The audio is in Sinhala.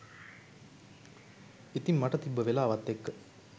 ඉතින් මට තිබ්බ වෙලාවත් එක්ක